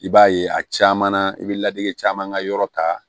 I b'a ye a caman na i be lajɛ caman ka yɔrɔ ta